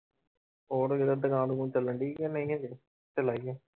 ਹੋਰ ਕਿਤੇ ਦੁਕਾਨ ਦਕੂੂਨ ਚੱਲਣਡੀ ਕਿ ਨਹੀਂ ਹਜੇ ਢਿੱਲਾ ਹੀ ਹੈ।